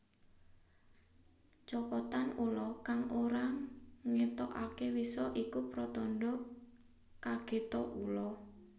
Cokotan ula kang ora ngetokake wisa iku pratandha kagete ula